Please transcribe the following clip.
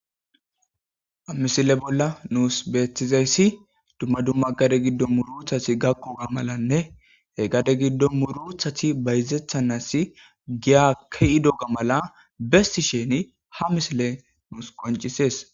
Misile bolla nuus beetizay,dumma dumma gade giddo muurutati gakkidinne bayzetanasi Giya ke'ido mala bessishe nuus ha misile qoncisees.